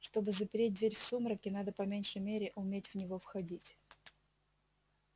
чтобы запереть дверь в сумраке надо по меньшей мере уметь в него входить